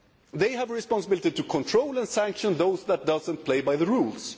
They have the responsibility to control and sanction those who do not play by the rules.